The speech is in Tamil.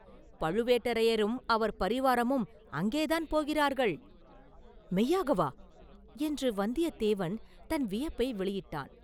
பழுவேட்டரையரும் அவர் பரிவாரமும் அங்கேதான் போகிறார்கள்.” “மெய்யாகவா?” என்று வந்தியத்தேவன் தன் வியப்பை வெளியிட்டான்.